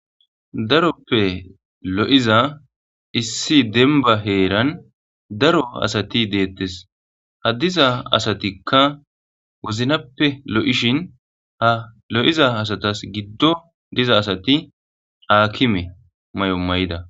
Daroppe lo7iza issi denba heeran daro asati deettes ha diza asatikka woznappe lo7ishin ha lo7iza asatas giddo diza asati aakime may7o may7ida.